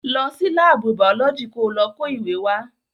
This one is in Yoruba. Lọ sí láàbù bàọ́lọ́jì ko lọ kó ìwé wá.